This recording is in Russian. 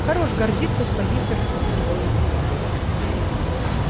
хорош гордиться своей персоной